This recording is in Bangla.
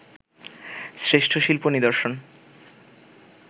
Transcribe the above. শ্রেষ্ঠ শিল্প নিদর্শন